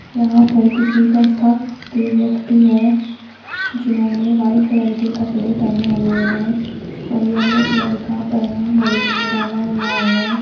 यहां पर किसी संस्था के व्यक्ति हैं जिन्होंने व्हाइट कलर के कपड़े पहने हुए हैं और येलो कलर का परणा गले में डाला हुआ है।